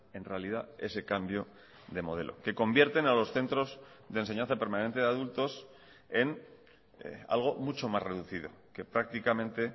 en realidad ese cambio de modelo que convierten a los centros de enseñanza permanente de adultos en algo mucho más reducido que prácticamente